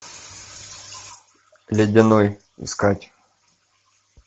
ледяной искать